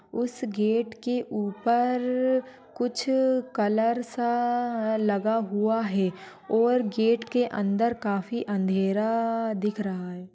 उस गेट के ऊपर कुछ कलर सा लगा हुआ हैं और गेट के अंदर काफी अंधेरा दिख रहा हैं।